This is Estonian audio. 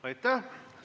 Aitäh!